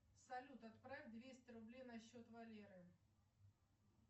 салют отправь двести рублей на счет валеры